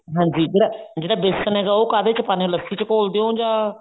ਹਾਂਜੀ ਜਿਹੜਾ ਜਿਹੜਾ ਬੇਸਨ ਹੈਗਾ ਉਹ ਕਾਹਦੇ ਚ ਪਾਉਣੇ ਆਂ ਲੱਸੀ ਚ ਘੋਲਦੇ ਹੋ ਜਾਂ